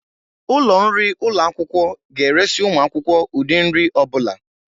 Ụlọ nri ụlọ akwụkwọ ga-eresị ụmụ akwụkwọ ụdị nri ọ bụla.